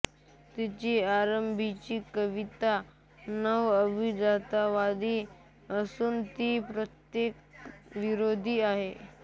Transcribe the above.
तिची आरंभीची कविता नवअभिजाततावादी असून ती प्रतीकवादविरोधी आहे